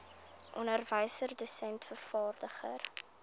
onderwyser dosent vervaardiger